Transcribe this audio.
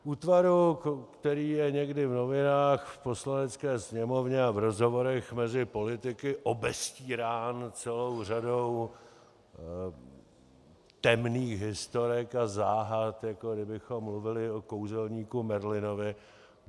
Útvaru, který je někdy v novinách, v Poslanecké sněmovně a v rozhovorech mezi politiky obestírán celou řadou temných historek a záhad, jako kdybychom mluvili o kouzelníku Merlinovi.